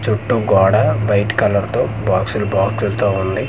చుట్టూ గోడ white colour బాక్సలు బాక్సలు తో ఉంది.